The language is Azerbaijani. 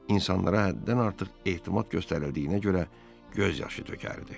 İnsanlara həddən artıq etimad göstərildiyinə görə göz yaşı tökərdi.